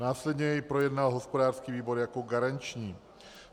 Následně jej projednal hospodářský výbor jako garanční.